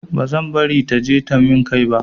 Ba zan bari ta taje min kai ba.